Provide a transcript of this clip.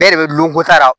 E yɛrɛ de bɛ lukoro sara